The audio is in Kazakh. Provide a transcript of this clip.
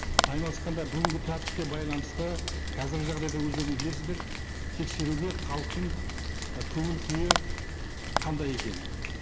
айналысқанда бүгінгі тәртіпке байланысты қазіргі жағдайда өздеріңіз білесіздер тексеруге халықтың і көңіл күйі қандай екенін